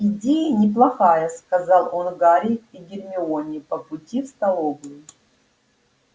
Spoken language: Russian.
идея неплохая сказал он гарри и гермионе по пути в столовую